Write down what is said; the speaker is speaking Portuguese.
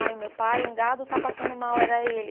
Aí, o meu pai, um gado está passando mal, era ele.